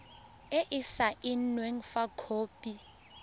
e e saenweng fa khopi